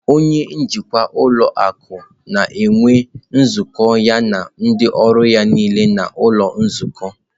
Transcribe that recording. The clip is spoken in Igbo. Onye njikwa ụlọ akụ na-enwe nzukọ ya na ndị ọrụ ya niile n'ụlọ nzukọ.